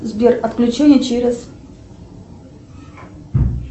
сбер отключение через